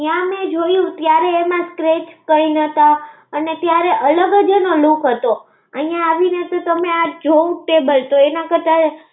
ત્યા મે જોયુ, ત્યારે એમા scractch કઈ નતા, અને ત્યારે અલગ જ એનો look હતો. અય્યા આવિને તો તમે આ જોવૂજ ન બળતો